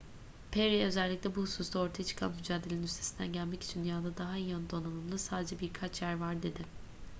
perry özellikle bu hususta ortaya çıkan mücadelenin üstesinden gelmek için dünyada daha iyi donanımlı sadece birkaç yer var dedi